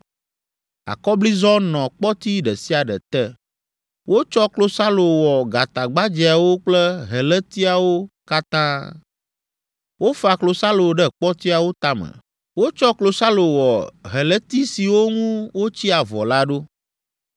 Akɔblizɔ nɔ kpɔti ɖe sia ɖe te. Wotsɔ klosalo wɔ gatagbadzɛawo kple helétiawo katã. Wofa klosalo ɖe kpɔtiawo tame. Wotsɔ klosalo wɔ heléti siwo ŋu wotsi avɔ la ɖo.